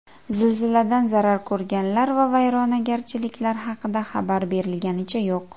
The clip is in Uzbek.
Zilziladan zarar ko‘rganlar va vayronagarchiliklar haqida xabar berilganicha yo‘q.